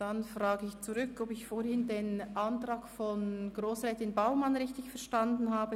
Dann frage ich zurück, ob ich vorhin den Antrag von Grossrätin Baumann richtig verstanden habe: